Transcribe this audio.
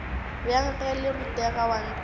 bjang ge le rutega oanteka